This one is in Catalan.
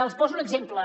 els poso un exemple